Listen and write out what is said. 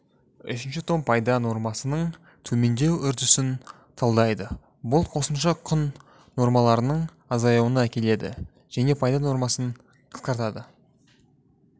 үшінші том пайда нормасының төмендеу үрдісін талдайды бұл қосымша құн нормаларының азаюына әкеледі және пайда нормасын қысқартады